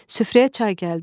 Süfrəyə çay gəldi.